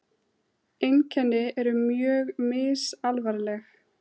Einkenni eru mjög misalvarleg.